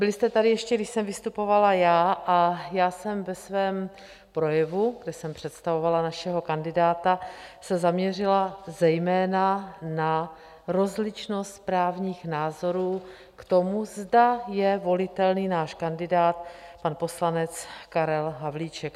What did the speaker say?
Byli jste tady, ještě když jsem vystupovala já, a já jsem ve svém projevu, kde jsem představovala našeho kandidáta, se zaměřila zejména na rozličnost právních názorů k tomu, zda je volitelný náš kandidát pan poslanec Karel Havlíček.